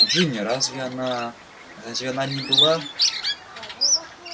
джинни разве она разве она не была